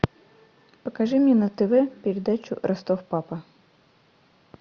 покажи мне на тв передачу ростов папа